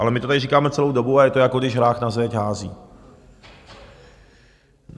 Ale my to tady říkáme celou dobu a je to, jako když hrách na zeď hází.